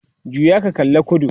juya ka kalla kudu!